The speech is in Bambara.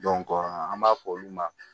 an b'a fɔ olu ma